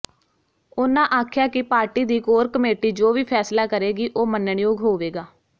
ਉਹਨਾਂ ਆਖਿਆ ਕਿ ਪਾਰਟੀ ਦੀ ਕੋਰ ਕਮੇਟੀ ਜੋ ਵੀ ਫੈਸਲਾ ਕਰੇਗੀ ਉਹ ਮੰਨਣਯੋਗ ਹੋਵੇਗਾ